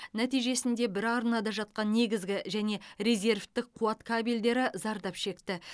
нәтижесінде бір арнада жатқан негізгі және резервтік қуат кабельдері зардап шекті